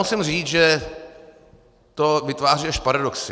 Musím říct, že to vytváří až paradoxy.